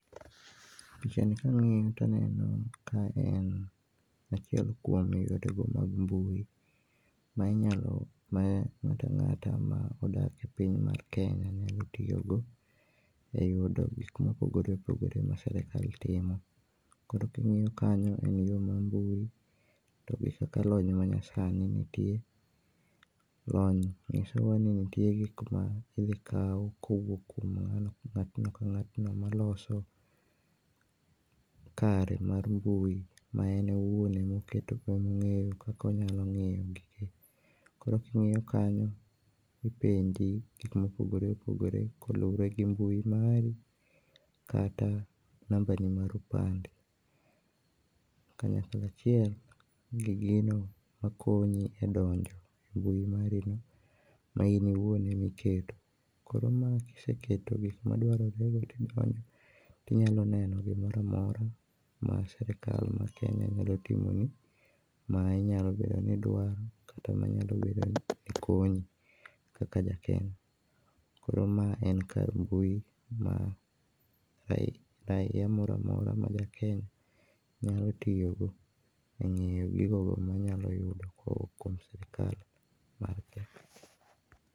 Picha ni ka ang'iyo to aneno ka en achiel kuom yore go mag mbui ma inyalo, ma ng'at ang'at ma odak e piny mar kenya nyalo tiyogo e yude e gik ma opogore opogore ma sirkal timo kata ka ing'iyo kanyo en yo mar mbui to be kaka lony ma nyasani nitie ,lony ng'isowa ni nitie gik ma idhi kaw ka owuok kuom ng'atno ka ng'atno ma loso kare mar mbui ma en owuon e ma oketo kak ong'eyo kak onyalo ng'iyogi koro ki ng'iyo kanyo ipenji gik ma opogore opogore kaluore gi mbui mari kata namba ni mar opande kanyakla achiel gi gino ma konyi e donjo e mbui marini ma in owuon ema iketo koro ma kiseketo gik maduarore to idonjo to inyalo neno gimoro amora ma sirkal ma kenya nyalo timoni, ma inyalo bedo ka idwaro kata ma nyalo bedo ni konyi kaka jakenya. Koro ma en kar mbui ma raia moro amora ma Kenya nyalo tiyo go e ng'iyo gigo go ma inyalo yudo ko owuok kuom sirkal ma Kenya.